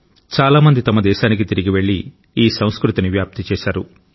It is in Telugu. చాలా మంది తమ దేశానికి తిరిగి వెళ్లి ఈ సంస్కృతిని వ్యాప్తి చేశారు